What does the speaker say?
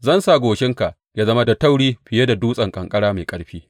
Zan sa goshinka ya zama da tauri kamar dutse, da tauri fiye da dutsen ƙanƙara ƙarfi.